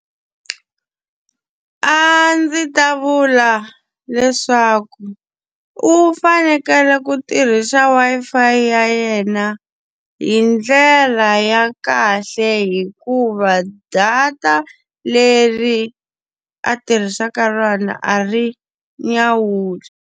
A ndzi ta vula leswaku u fanekele ku tirhisa Wi-Fi ya yena hi ndlela ya kahle hikuva data leri a tirhisaka rona a ri nyawuli.